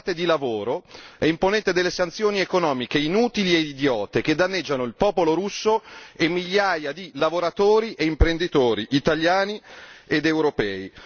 Voi parlate di lavoro e imponete delle sanzioni economiche inutili e idiote, che danneggiano il popolo russo e migliaia di lavoratori e imprenditori italiani ed europei.